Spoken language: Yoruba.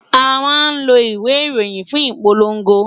A máa ń lo ìwé ìròyìn fún ìpolówó